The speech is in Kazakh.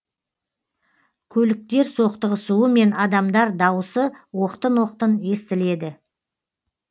көліктер соқтығысуы мен адамдар дауысы оқтын оқтын естіледі